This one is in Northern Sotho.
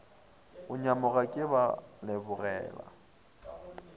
go nyamoga ke ba lebogela